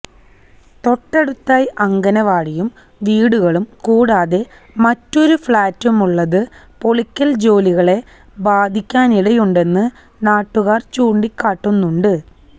തൊട്ടടുത്തായി അംഗനവാടിയും വീടുകളും കൂടാതെ മറ്റൊരു ഫ്ളാറ്റുമുള്ളത് പൊളിക്കല് ജോലികളെ ബാധിക്കാനിടയുണ്ടെന്ന് നാട്ടുകാര് ചൂണ്ടിക്കാട്ടുന്നുണ്ട്